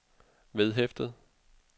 vedhæftet